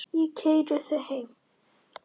Ég keyri þig heim.